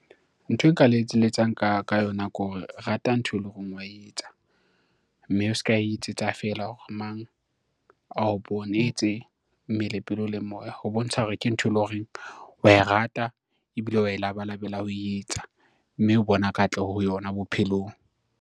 Nthwe nka le e letsang ka yona ke hore rata ntho e leng horeng wa etsa, mme o ska etsetsa fela hore mang ao bone etse mmele pelo le moya, ho bontsha hore ke ntho e leng horeng wa e rata ebile wa e labalabela ho etsa mme o bona katloho ho yona bophelong.